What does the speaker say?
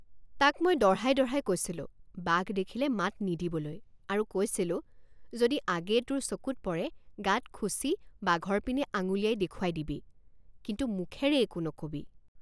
তাক মই দঢ়াই দঢ়াই কৈছিলোঁ বাঘ দেখিলে মাত নিদিবলৈ আৰু কৈছিলোঁ যদি আগেয়ে তোৰ চকুত পৰে গাত খুচি বাঘৰ পিনে আঙুলিয়াই দেখুৱাই দিবি কিন্তু মুখেৰে একো নকবি।